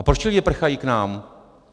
A proč ti lidi prchají k nám?